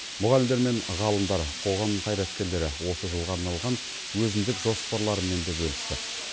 мұғалімдер мен ғалымдар қоғам қайраткерлері осы жылға арналған өзіндік жоспарларымен де бөлісті